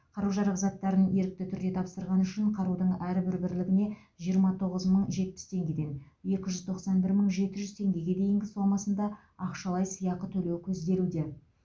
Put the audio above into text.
қару жарақ заттарын ерікті түрде тапсырғаны үшін қарудың әрбір бірлігіне жиырма тоғыз мың жетпіс теңгеден екі жүз тоқсан бір мың жеті жүз теңгеге дейін сомасында ақшалай сыйақы төлеу көзделеуде